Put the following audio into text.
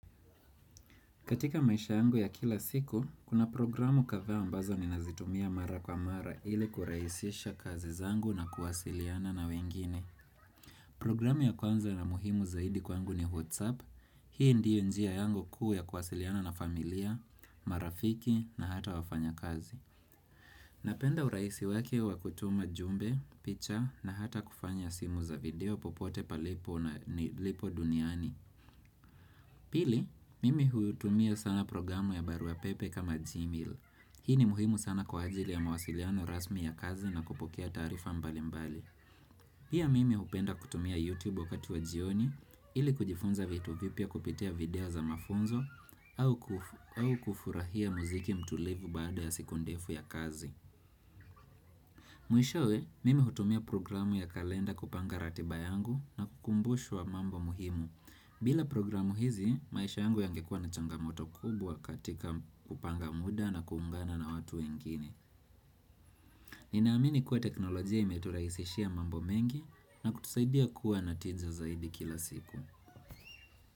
Katika maisha yangu ya kila siku, kuna programu kathaa ambazo ni nazitumia mara kwa mara ili kurahisisha kazi zangu na kuwasiliana na wengine. Programu ya kwanza na muhimu zaidi kwangu ni WhatsApp. Hii ndiyo njia yangu kuu ya kuwasiliana na familia, marafiki na hata wafanya kazi. Napenda urahisi wake wakutuma jumbe, picha na hata kufanya simu za video popote palipo na ni lipo duniani. Pili, mimi hutumia sana programu ya barua pepe kama Gmail. Hii ni muhimu sana kwa ajili ya mawasiliano rasmi ya kazi na kupokea tarifa mbali mbali. Pia mimi hupenda kutumia YouTube wakati wa jioni ili kujifunza vitu vipya kupitia video za mafunzo au kufurahia muziki mtulivu baada ya siku ndefu ya kazi. Mwishowe, mimi hutumia programu ya kalenda kupanga ratibayangu na kukumbushwa mambo muhimu. Bila programu hizi, maisha angu yangekua na changamoto kubwa katika kupanga muda na kuungana na watu ingine. Ninaamini kuwa teknolojia imeturaisishia mambo mengi na kutusaidia kuwa natinza zaidi kila siku.